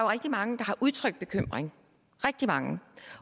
rigtig mange der har udtrykt bekymring rigtig mange